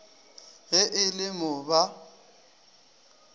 ge e le mo ba